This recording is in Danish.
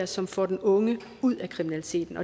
som får den unge ud af kriminaliteten